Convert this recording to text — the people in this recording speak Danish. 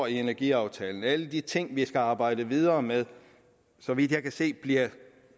af energiaftalen alle de ting vi skal arbejde videre med så vidt jeg kan se bliver